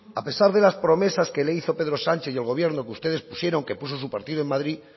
a pesar de las promesas que le hizo pedro sánchez y el gobierno que ustedes pusieron que puso su partido en madrid